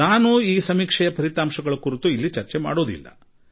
ನಾನು ಫಲಿತಾಂಶ ಕುರಿತು ಚರ್ಚಿಸುವುದಿಲ್ಲ